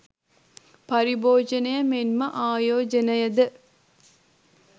පරිභෝජනය මෙන්ම ආයෝජනයද